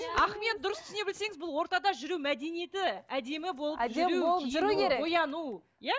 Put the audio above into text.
ахмет дұрыс түсіне білсеңіз бұл ортада жүру мәдениеті әдемі болып жүру